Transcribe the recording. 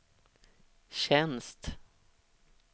tjänst